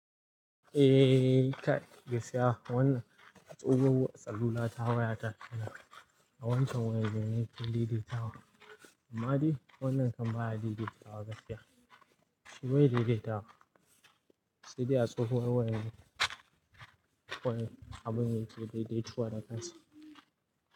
Eh, ka gaskiya wannan a tsohuwar salula ta waya ta yana, a wancan waye bene ke daidaita wa. Amma dai wannan kan baya daidaita wa gaskiya. Bai daidaita wa. Saidai a tsohuwar wayar ne, wayar abin ne ke daidaituwa da kansa.